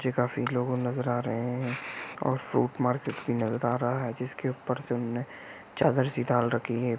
जे काफी लोग नजर आ रहे है और फ्रूट मार्केट भी नजर आ रहा है जिसके ऊपर से उनने चादर सी डाल रखी है।